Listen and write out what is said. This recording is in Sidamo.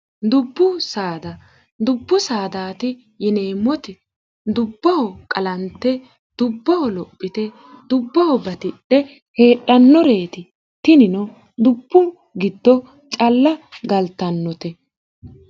dubbu saada dubbu saadaati yineemmoti dubboho qalante dubboho lophite dubboho batidhe heedhannoreeti tinino dubbu gitto calla galtannote